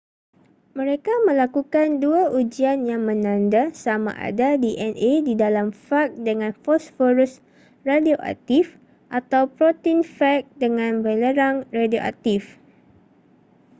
mereka melakukan dua ujian yang menanda sama ada dna di dalam fag dengan fosforus radioaktif atau protein fag dengan belerang radioaktif